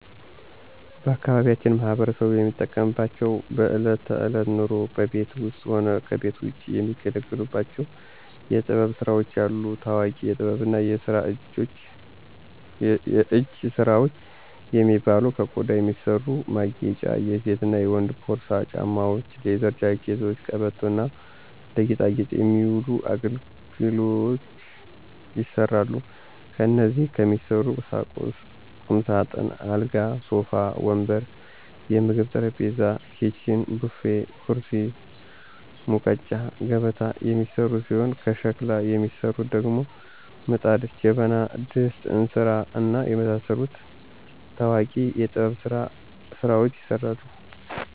ባአካባቢያችን ማህበረሰቡ የሚጠቀምባቸው በእለት ተእለት ኑሮው በቤት ውስጥም ሆነ ከቤት ውጭ የሚገለገሉባቸው የጥበብ ስራዎች አሉ። ታዎቂ የጥበብና የእጅ ስራዎች የሚባሉ ከቆዳ የሚሰሩ ማጌጫ የሴትና የወንድ ፖርሳ፣ ጫማዎች፣ ሌዘር ጃኬቶች፣ ቀበቶ እና ለጌጣጌጥ የሚውሉ አገልግሎች ይሰራሉ። ከእንጨት የሚሰሩ ቁምሳጥን፣ አልጋ፣ ሶፋ ወንበር፣ የምግብ ጠረጴዛ፣ ኪችን፣ ቡፌ፣ ኩርሲ፣ ሙቀጫ፣ ገበታ የሚሰሩ ሲሆን ከሸክላ የሚሰሩት ደግሞ ምጣድ፣ ጀበና፣ ድስት፣ እንስራ፣ እና የመሳሰሉት ታዎቂ የጥበብ ስራዎች ይሰራሉ።